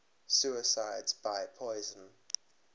suicides by poison